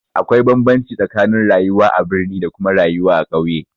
Akwai bambamci tsakanin rayuwa a birni da kuma rayuwa a ƙauye